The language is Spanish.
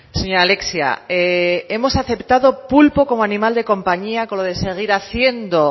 señora alexia hemos aceptado pulpo como animal de compañía con lo de seguir haciendo